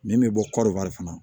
Min bɛ bɔ kɔɔri fana